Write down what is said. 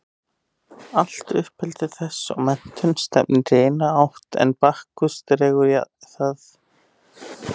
Allt uppeldi þess og menntun stefnir í eina átt en Bakkus dregur það í aðra.